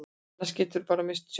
Annars geturðu bara misst sjónina.